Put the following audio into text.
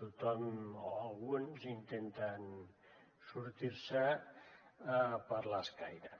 tothom o alguns intenten sortir ne per l’escaire